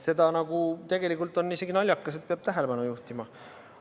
Tegelikult on isegi naljakas, et sellele peab tähelepanu juhtima.